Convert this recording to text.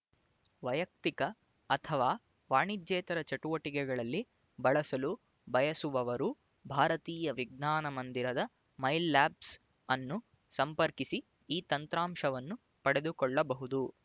ವೈಯಕ್ತಿಕ ಅಥವಾ ವಾಣಿಜ್ಯೇತರ ಚಟುವಟಿಕೆಗಳಲ್ಲಿ ಬಳಸಲು ಬಯಸುವವರು ಭಾರತೀಯ ವಿಜ್ಞಾನ ಮಂದಿರದ ಮೈಲ್ ಲ್ಯಾಬ್ಸ್ ಅನ್ನು ಸಂಪರ್ಕಿಸಿ ಈ ತಂತ್ರಾಂಶವನ್ನು ಪಡೆದುಕೊಳ್ಳಬಹುದು